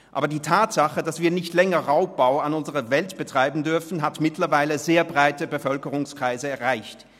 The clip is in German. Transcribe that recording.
Aber die Erkenntnis, dass wir nicht länger Raubbau an unserer Welt betreiben dürfen, hat mittlerweile sehr breite Bevölkerungskreise erreicht.